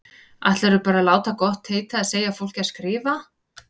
Ætlarðu bara að láta gott heita að segja fólki að skrifa!